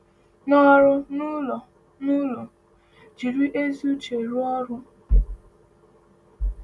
N’ọrụ n’ụlọ n’ụlọ, jiri ezi uche rụọ ọrụ.